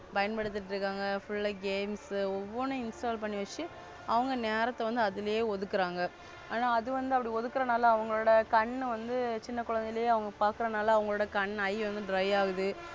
பயன்படுத்திட்டு இருக்காங்க. Full games ஒவ்வொனும் Installl பண்ணிவச்சு. அவங்க நேரத்த வந்து அதுலயே ஒதுக்குறாங்க. ஆனா அது வந்து அப்டி ஒதுக்குறனால அவங்களோட கண்ணு வந்து சின்ன குழந்தைலேயே அவங்க பாக்குறதுனால அவங்களோட கண் Eye வந்து Dry ஆகுது.